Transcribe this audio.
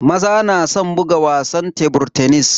Maza na san buga wasan tebur tenis.